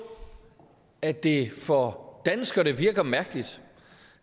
at det for danskerne virker mærkeligt